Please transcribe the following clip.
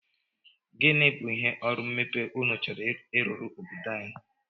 Gịnị bụ ihe ọrụ mmepe unu chọrọ ịrụrụ obodo anyị?